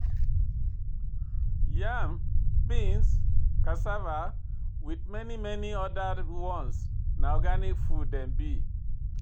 Yam, beans, cassava with many many other ones na organic food dem be.